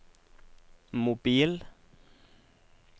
mobil